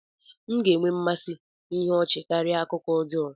M ga-enwe mmasị ihe ọchị karịa akụkọ ọjọọ